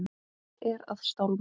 Er að stálma.